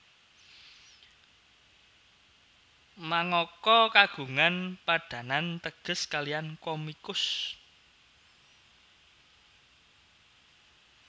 Mangaka kagungan padanan teges kalihan komikus